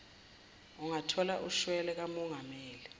ungathola ushwele kamongameli